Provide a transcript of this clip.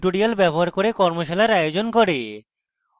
tutorials ব্যবহার করে কর্মশালার আয়োজন করে